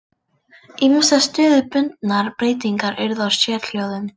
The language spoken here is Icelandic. Ýmsar stöðubundnar breytingar urðu á sérhljóðum.